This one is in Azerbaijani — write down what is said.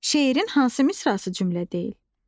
Şeirin hansı misrası cümlə deyil?